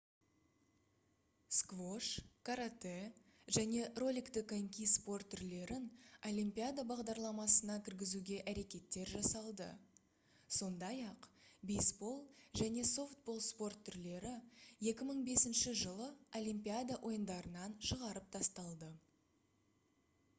сквош каратэ және роликті коньки спорт түрлерін олимпиада бағдарламасына кіргізуге әрекеттер жасалды сондай-ақ бейсбол және софтбол спорт түрлері 2005-жылы олимпиада ойындарынан шығарып тасталды